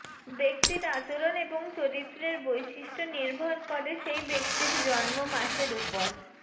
ব্যক্তির আচরণ এবং চরিত্রের বৈশিষ্ট্য নির্ভর করে সেই ব্যক্তির জন্ম মাসের উপর